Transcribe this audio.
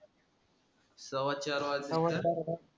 सव्वाचार वाजलेत का?